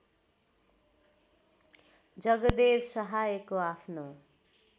जगदेव सहायको आफ्नो